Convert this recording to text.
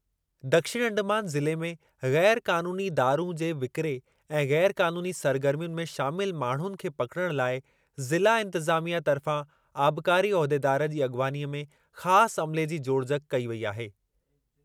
दक्षिण अंडमान ज़िले में ग़ैर क़ानूनी दारूं जे विकिरे ऐं ग़ैर क़ानूनी सरगर्मियुनि में शामिलु माण्हुनि खे पकिड़णु लाइ ज़िला इंतिज़ामिया तर्फ़ा आबकारी उहिदेदारु जी अॻवानीअ में ख़ासि अमिले जी जोड़जक कई वेई आहे।